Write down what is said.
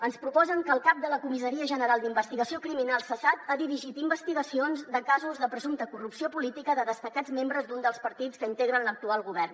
ens proposen que el cap de la comissaria general d’investigació criminal cessat ha dirigit investigacions de casos de presumpta corrupció política de destacats membres d’un dels partits que integren l’actual govern